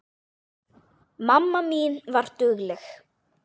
Mamma mín var dugleg.